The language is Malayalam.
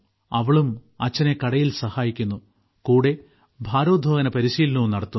അവളും അച്ഛനെ കടയിൽ സഹായിക്കുന്നു കൂടെ ഭാരോദ്വഹന പരിശീലനവും നടത്തുന്നു